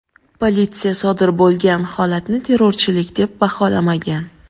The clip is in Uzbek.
Politsiya sodir bo‘lgan holatni terrorchilik deb baholamagan.